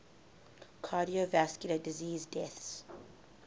cardiovascular disease deaths